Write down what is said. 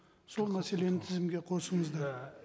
сол мәселені тізімге қосыңыздар